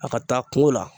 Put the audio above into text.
A ka taa kungo la